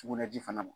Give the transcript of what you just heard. Sugunɛji fana ma